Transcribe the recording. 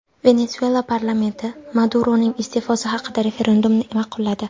Venesuela parlamenti Maduroning iste’fosi haqidagi referendumni ma’qulladi.